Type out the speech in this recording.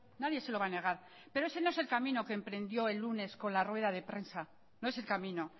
nadie se lo va a negar pero ese no es el camino que emprendió el lunes con la rueda de prensa no es el camino